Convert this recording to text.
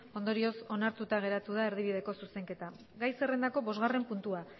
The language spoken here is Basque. ondorioz onartuta geratu da erdibideko zuzenketa gai zerrendako bosgarren puntua